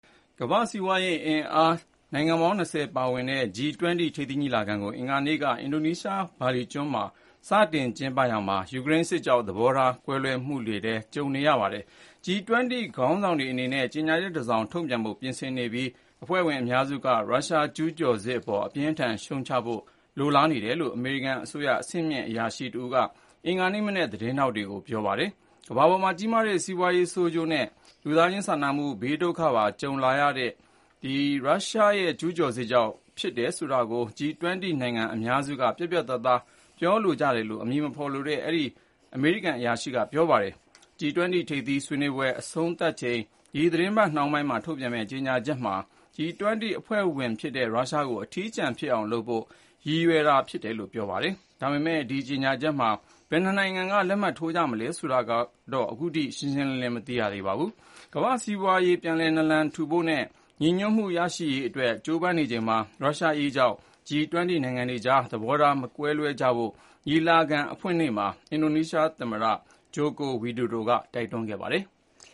ကမ္ဘာ့ စီးပွားရေးအင်အားကြီး နိုင်ငံပေါင်း ၂၀ G-20 ထိပ်သီးညီလာခံကို အင်္ဂါနေ့က အင်ဒိုနီးရှားနိုင်ငံ ဘာလီကျွန်းမှာ စတင် ကျင်းပရာမှာ၊ ယူကရိန်းစစ်ကြောင့် သဘောထား ကွဲပြားမှုတွေလည်း ကြုံနေရပါတယ်။ G-20 ခေါင်းဆောင်တွေ အနေနဲ့ ကြေညာချက်တစောင် ထုတ်ပြန်ဖို့ ပြင်ဆင်နေပြီး အဖွဲ့ဝင်အများစုက ရုရှားကျူးကျော်စစ်အပေါ် အပြင်းအထန် ရှုတ်ချဖို့ လိုလားနေတယ်လို့ အမေရိကန်အစိုးရ အဆင့်မြင့်အရာရှိတဦးက အင်္ဂါနေ့မနက် သတင်းထောက်တွေကို ပြောပါတယ်။ ကမ္ဘာပေါ်မှာ ကြီးမားတဲ့ စီးပွားရေးဆိုးကျိုးတွေနဲ့ လူသားချင်းစာနာမှု ဘေးဒုက္ခပါ ကြုံလာရတာဟာ ရုရှားရဲ့ ကျူးကျော်စစ်ကြောင့် ဖြစ်တယ်ဆိုတာကို G-20 နိုင်ငံအများစုက ပြတ်ပြတ်သားသား ပြောလို ကြတယ်လို့ အမည်မဖေါ်လိုတဲ့ အဲဒီ အမေရိကန်အရာရှိက ပြောပါတယ်။ G-20 ထိပ်သီးဆွေးနွေးပွဲ အဆုံးသတ်ချိန် ဒီသီတင်းပတ်နှောင်းပိုင်းမှာ ထုတ်ပြန်မယ့် ကြေညာချက်မှာ G-20 အဖွဲ့ဝင်ဖြစ်တဲ့ ရုရှားကို အထီးကျန်အောင်လုပ်ဖို့ ရည်ရွားထားတယ်လို့လည်း ပြောပါတယ်။ ဒါပေမဲ့ ဒီကြေညာချက်မှာ ဘယ်နှစ်နိုင်ငံက လက်မှတ်ထိုးကြမယ် ဆိုတာကတော့ ရှင်းရှင်းလင်းလင်း မသိရ သေးပါဘူး။ ကမ္ဘာ့ စီးပွားရေး ပြန်လည်နလန်ထူဖို့နဲ့ ညီညွတ်မှု ရရှိရေးအတွက် ကြိုးပမ်းနေရချိန်မှာ ရုရှားအရေးကြောင့် G-20 နိုင်ငံတွေကြား သဘောထား မကွဲလွဲကြဖို့ ညီလာခံအဖွင့်မှာ အင်ဒိုနီးရှားသမ္မတ Joko Widodo က တိုက်တွန်းခဲ့ပါတယ်။